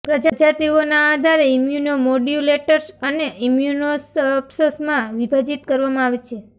પ્રજાતિઓના આધારે ઇમ્યુનોમોડ્યુલેટર્સ અને ઇમ્યુનોસઅપ્સ્સમાં વિભાજિત કરવામાં આવે છે